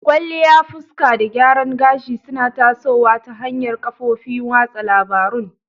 Kwalliya fuska da gyaran gashi suna tasowa ta hanyar kafofin watsa labarun.